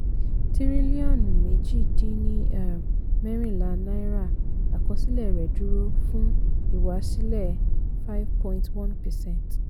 tírílíọ̀nù méjì dín ní um mẹ́rìnlá náírà àkọsílẹ̀ rẹ̀ dúró fún ìwásílẹ̀ five point one percent